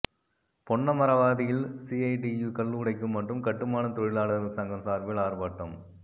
பொன்னமராவதியில் CITU கல்லுடைக்கும் மற்றும் கட்டுமான தொழிலாளர்கள் சங்கம் சார்பில் ஆர்ப்பாட்டம்